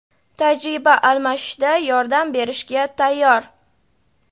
tajriba almashishda yordam berishga tayyor.